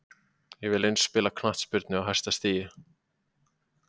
Ég vill aðeins spila knattspyrnu á hæsta stigi.